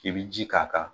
I bi ji k'a kan